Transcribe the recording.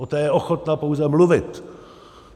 O té je ochotna pouze mluvit.